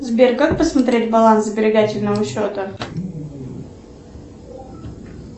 сбер как посмотреть баланс сберегательного счета